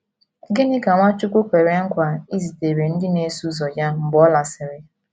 Gịnị ka Nwachukwu kwere nkwa izitere ndị na - eso ụzọ ya mgbe ọ lasịrị?